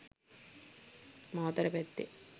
මාතර පැත්තේ.